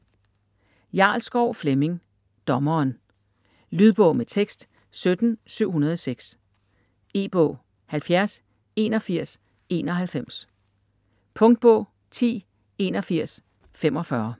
Jarlskov, Flemming: Dommeren Lydbog med tekst 17706 E-bog 708191 Punktbog 108145